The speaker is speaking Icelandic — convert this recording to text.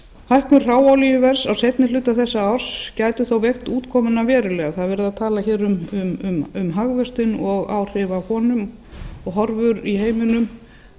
hækkun hráolíuverðs á seinni hluta þessa árs gæti þó veikt útkomuna verulega það er verið að tala hér um hagvöxtinn og áhrif af honum og horfur í heiminum